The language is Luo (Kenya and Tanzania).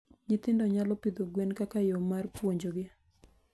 Nyithindo nyalo pidho gwen kaka yo mar puonjogi.